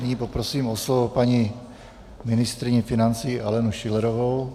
Nyní poprosím o slovo paní ministryni financí Alenu Schillerovou.